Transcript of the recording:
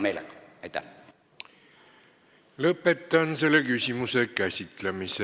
Lõpetan selle küsimuse käsitlemise.